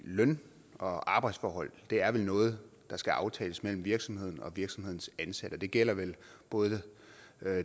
løn og arbejdsforhold er vel noget der skal aftales mellem virksomheden og virksomhedens ansatte det gælder vel både